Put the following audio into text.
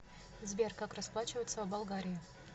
сбер как расплачиваться в болгарии